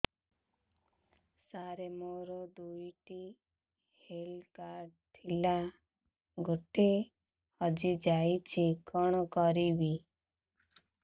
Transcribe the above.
ସାର ମୋର ଦୁଇ ଟି ହେଲ୍ଥ କାର୍ଡ ଥିଲା ଗୋଟେ ହଜିଯାଇଛି କଣ କରିବି